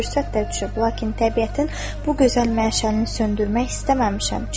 Fürsət də düşüb, lakin təbiətin bu gözəl məşəlini söndürmək istəməmişəm.